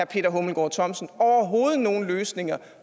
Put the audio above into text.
peter hummelgaard thomsen overhovedet nogen løsninger